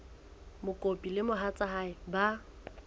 mokopi le mohatsa hae ba